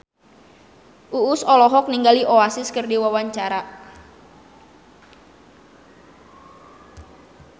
Uus olohok ningali Oasis keur diwawancara